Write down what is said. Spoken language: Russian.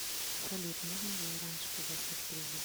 салют можно ли раньше погасить кредит